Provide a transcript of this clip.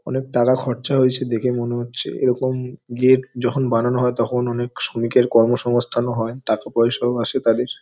অনেক টাকা খরচা হয়েছে দেখে মনে হচ্ছে এরকম গেট যখন বানানো হয় তখন অনেক শ্রমিকের কর্ম সংস্থান ও হয় টাকা পয়সাও আসে তাদের।